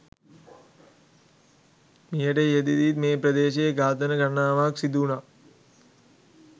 මීට ඉහතදීත් මේ ප්‍රදේශයේ ඝාතන ගණනාවක් සිදුවුණා.